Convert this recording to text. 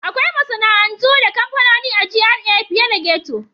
Akwai masana'antu da kamfanoni a GRA fiye da ghetto.